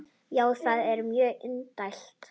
Já, það er mjög indælt.